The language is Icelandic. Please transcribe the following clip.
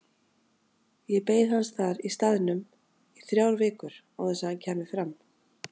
Ég beið hans þar í staðnum í þrjár vikur án þess að hann kæmi fram.